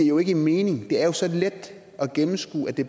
jo ikke mening det er jo så let at gennemskue at det